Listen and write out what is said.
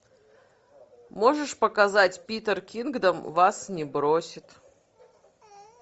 можешь показать питер кингдом вас не бросит